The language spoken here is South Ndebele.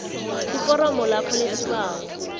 iforomo lakho lesibawo